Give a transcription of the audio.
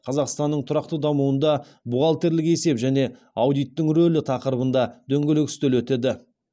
қазақстанның тұрақты дамуында бухгалтерлік есеп және аудиттің рөлі тақырыбында дөңгелек үстел өтеді